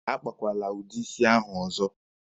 A kpakwara udi isi ahụ ọzọ!